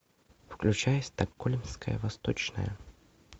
включай стокгольмская восточная